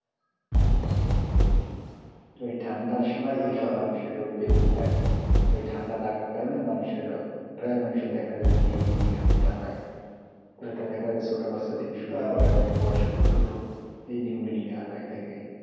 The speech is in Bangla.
ওই ঠান্ডার সময় এই সব মানুষের রোগবেদি হয় তো এই ঠান্ডা লাগার কারণে মানুষের প্রায় মানুষের দেখা যায় যে নিউমোনিয়া রোগটা হয় তথা দেখা যায় ছোটো বাচ্চা থেকে শুরু করে অনেক বয়স্ক লোকেরও এই নিউমোনিয়া হয় থেকে,